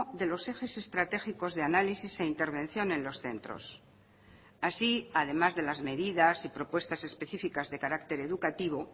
de los ejes estratégicos de análisis e intervención en los centros así además de las medidas y propuestas especificas de carácter educativo